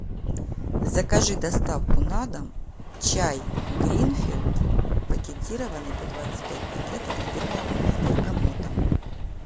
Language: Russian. закажи доставку на дом чай гринфилд пакетированный по двадцать пять пакетов с бергамотом